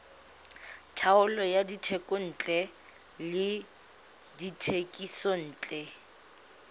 taolo ya dithekontle le dithekisontle